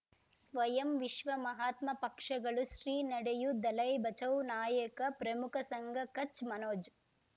ಸ್ವಯಂ ವಿಶ್ವ ಮಹಾತ್ಮ ಪಕ್ಷಗಳು ಶ್ರೀ ನಡೆಯೂ ದಲೈ ಬಚೌ ನಾಯಕ ಪ್ರಮುಖ ಸಂಘ ಕಚ್ ಮನೋಜ್